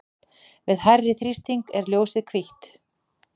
við hærri þrýsting er ljósið hvítt